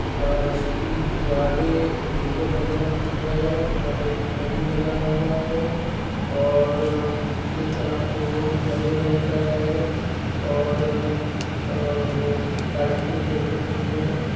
अ इसकी दीवारें नीले कलर की है| वहा पे एक घड़ी लगा हुआ है| और अ नीचे का फ्लोर हरे रंग का है और लाइटे जल रही है।